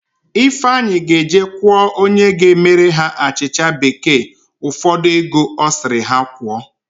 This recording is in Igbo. Ifeanyi ga-eje kwụọ onye ga-emere ha achịcha bekee ụfọdụ ego ọ sịrị ha kwụọ.